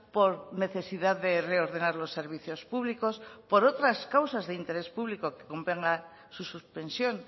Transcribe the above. por necesidad de reordenar los servicios públicos por otras causas de interés público que convenga su suspensión